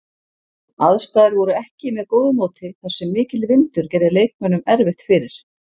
Aðstæður voru ekki með góðu móti þar sem mikill vindur gerði leikmönnum erfitt fyrir.